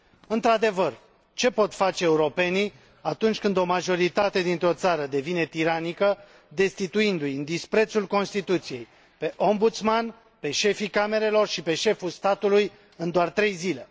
Într adevăr, ce pot face europenii atunci când o majoritate dintr o țară devine tiranică, destituindu i, în disprețul Constituției, pe Ombudsman, pe șefii camerelor și pe șeful statului în doar trei zile?